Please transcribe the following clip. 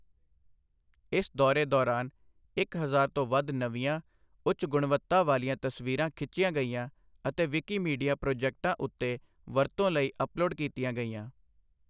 ਇਸ ਦੌਰੇ ਦੌਰਾਨ ਇੱਕ ਹਜ਼ਾਰ ਤੋਂ ਵੱਧ ਨਵੀਆਂ, ਉੱਚ ਗੁਣਵੱਤਾ ਵਾਲੀਆਂ ਤਸਵੀਰਾਂ ਖਿੱਚੀਆਂ ਗਈਆਂ ਅਤੇ ਵਿਕੀਮੀਡੀਆ ਪ੍ਰੋਜੈਕਟਾਂ ਉੱਤੇ ਵਰਤੋਂ ਲਈ ਅੱਪਲੋਡ ਕੀਤੀਆਂ ਗਈਆਂ।